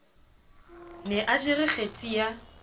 ne a jere kgetsi ya